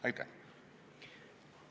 Aitäh!